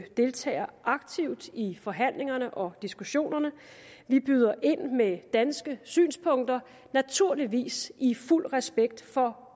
deltager aktivt i forhandlingerne og diskussionerne vi byder ind med danske synspunkter naturligvis i fuld respekt for